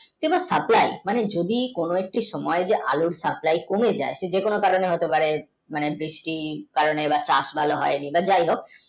এবার supply মানে যদি কোনো একটি সময়ই আলুর supply কমে যাই সে যে কোনো কারণে হইতে পারে মানে বৃষ্টির কারণে বা চাষ ভালো হয়নি বা যাই হক